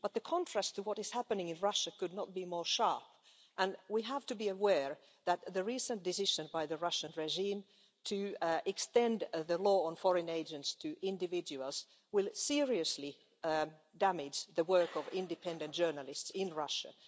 But the contrast to what is happening in Russia could not be more sharp, and we have to be aware that the recent decision by the Russian regime to extend the law on foreign agents to individuals will seriously damage the work of independent journalists in Russia.